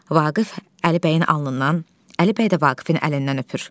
Vaqif Əlibəyin alnından, Əlibəy də Vaqifin əlindən öpür.